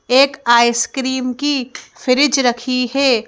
एक आइसक्रीम की फ्रिज रखी है।